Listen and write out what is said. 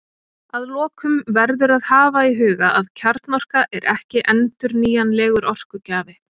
Að lokum verður að hafa í huga að kjarnorka er ekki endurnýjanlegur orkugjafi.